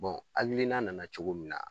alinina nana cogo min na